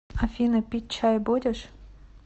афина пить чай будешь